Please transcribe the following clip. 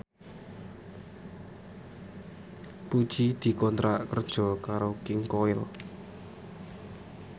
Puji dikontrak kerja karo King Koil